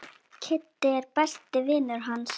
Kiddi er besti vinur hans.